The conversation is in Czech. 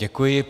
Děkuji.